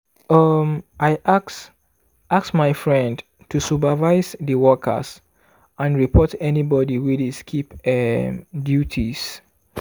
um i ask ask my friend to supervise di workers and report anybody wey dey skip um duties.